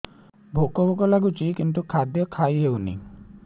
ଭୋକ ଭୋକ ଲାଗୁଛି କିନ୍ତୁ ଖାଦ୍ୟ ଖାଇ ହେଉନି